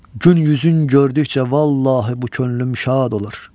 Gün yüzün gördükcə vallahi bu könlüm şad olur.